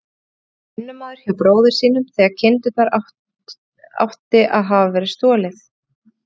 Hann hafði verið vinnumaður hjá bróður sínum þegar kindunum átti að hafa verið stolið.